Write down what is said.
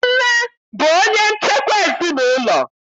Nne bụ onye nchekwa ezinaụlọ.